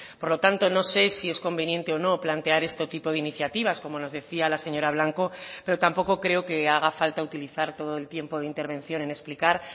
por lo tanto no sé si es conveniente o no plantear este tipo de iniciativas como nos decía la señora blanco pero tampoco creo que haga falta utilizar todo el tiempo de intervención en explicar